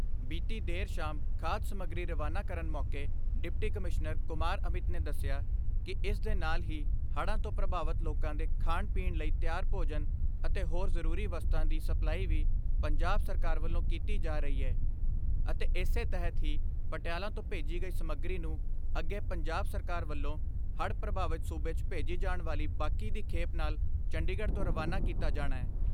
ਬੀਤੀ ਦੇਰ ਸ਼ਾਮ ਖਾਧ ਸਮੱਗਰੀ ਰਵਾਨਾ ਕਰਨ ਮੌਕੇ ਡਿਪਟੀ ਕਮਿਸ਼ਨਰ ਕੁਮਾਰ ਅਮਿਤ ਨੇ ਦੱਸਿਆ ਕਿ ਇਸ ਦੇ ਨਾਲ ਹੀ ਹੜ੍ਹਾਂ ਤੋਂ ਪ੍ਰਭਾਵਤ ਲੋਕਾਂ ਦੇ ਖਾਣ ਪੀਣ ਲਈ ਤਿਆਰ ਭੋਜਨ ਅਤੇ ਹੋਰ ਜ਼ਰੂਰੀ ਵਸਤਾਂ ਦੀ ਸਪਲਾਈ ਵੀ ਪੰਜਾਬ ਸਰਕਾਰ ਵੱਲੋਂ ਕੀਤੀ ਜਾ ਰਹੀ ਏ ਅਤੇ ਇਸੇ ਤਹਿਤ ਹੀ ਪਟਿਆਲਾ ਤੋਂ ਭੇਜੀ ਗਈ ਸਮੱਗਰੀ ਨੂੰ ਅੱਗੇ ਪੰਜਾਬ ਸਰਕਾਰ ਵੱਲੋਂ ਹੜ੍ਹ ਪ੍ਰਭਾਵਤ ਸੂਬੇ 'ਚ ਭੇਜੀ ਜਾਣ ਵਾਲੀ ਬਾਕੀ ਦੀ ਖੇਪ ਨਾਲ ਚੰਡੀਗੜ੍ਹ ਤੋਂ ਰਵਾਨਾ ਕੀਤਾ ਜਾਣੈ।